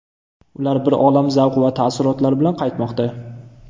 Ular bir olam zavq va taassurotlar bilan qaytmoqda.